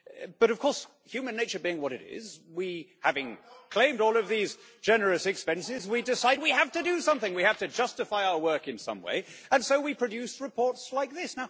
But, of course, human nature being what it is, we having claimed all of these generous expenses decide we have to do something, we have to justify our work in some way, and so we produce reports like this.